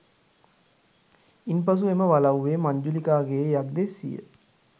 ඉන් පසු එම වලව්වේ මංජුලිකාගේ යක්දෙස්සිය